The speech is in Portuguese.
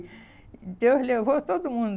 Deus levou todo mundo.